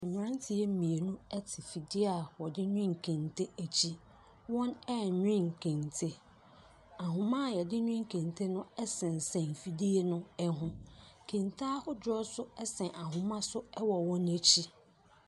Mmeranteɛ mmienu te afidie a wɔde nwene kente akyi. Wɔrenwene kente. Ahoma a wɔde nwene kente no sesa afidie no ho. Kente ahodoɔ nso sɛn ahoma so wɔ wɔn akyi.